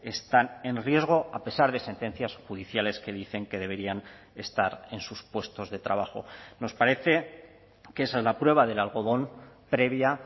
están en riesgo a pesar de sentencias judiciales que dicen que deberían estar en sus puestos de trabajo nos parece que esa es la prueba del algodón previa